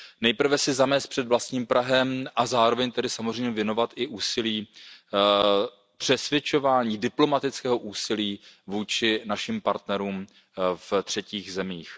Nejprve si zamést před vlastním prahem a zároveň samozřejmě věnovat i úsilí přesvědčování, diplomatického úsilí vůči našim partnerům ve třetích zemích.